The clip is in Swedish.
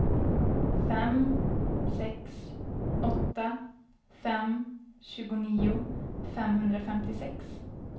fem sex åtta fem tjugonio femhundrafemtiosex